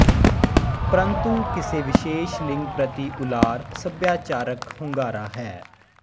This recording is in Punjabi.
ਪ੍ਰੰਤੂ ਕਿਸੇ ਵਿਸੇਸ਼ ਲਿੰਗ ਪ੍ਰਤੀ ਉਲਾਰ ਸੱਭਿਆਚਾਰਕ ਹੁੰਗਾਰਾ ਹੈ